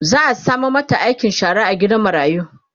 za'a sama mata aikin shara a gidan marayu